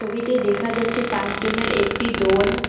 ছবিতে দেখা যাচ্ছে পাঁচজনের একটি দল।